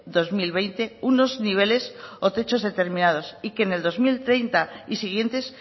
dos mil veinte unos niveles o techos determinados y que en el dos mil treinta y siguientes